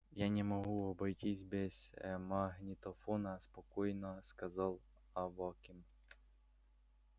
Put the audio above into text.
я не могу обойтись без магнитофона спокойно сказал аваким